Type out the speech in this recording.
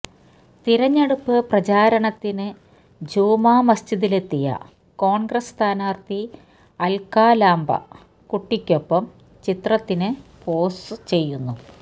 തിരഞ്ഞെടുപ്പ് പ്രചാരണത്തിന് ജുമാ മസ്ജിദിലെത്തിയ കോൺഗ്രസ് സ്ഥാനാർഥി അൽക്കാ ലാംബ കുട്ടിക്കൊപ്പം ചിത്രത്തിനു പോസ് ചെയ്യുന്നു